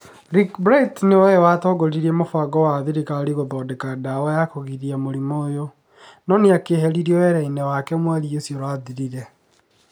Rick Bright nĩ we watongoririe mũbango ya thirikari gũthondeka ndawa ya kũgiria mũrimũ ũyũ, no nĩ akĩeherio wĩra-inĩ wake wĩra mweri ũcio ũrathirire.